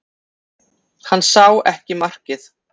Hann sá ekki markið